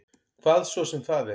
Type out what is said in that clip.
Hvað svo sem það er.